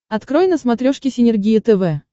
открой на смотрешке синергия тв